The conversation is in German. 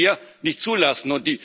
Das können wir nicht zulassen.